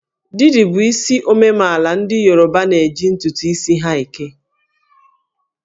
Didi bụ isi omemaala ndị Yoruba na-eji ntụtụ isi ha eke